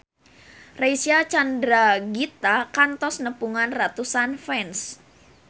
Reysa Chandragitta kantos nepungan ratusan fans